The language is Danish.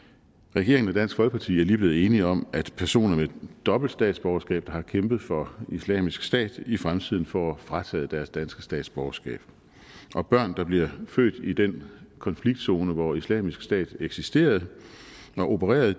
regeringen og dansk folkeparti er lige blevet enige om at personer med dobbelt statsborgerskab der har kæmpet for islamisk stat i fremtiden får frataget deres danske statsborgerskab og børn der bliver født i den konfliktzone hvor islamisk stat eksisterede og opererede